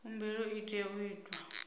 khumbelo i tea u itwa